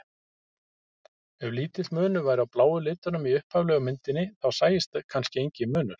Ef lítill munur væri á bláu litunum í upphaflegu myndinni þá sæist kannski enginn munur.